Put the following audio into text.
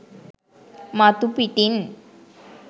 මතු පිටින්.